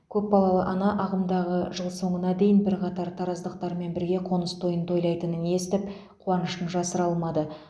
көпбалалы ана ағымдағы жыл соңына дейін бірқатар тараздықтармен бірге қоныс тойын тойлайтынын естіп қуанышын жасыра алмады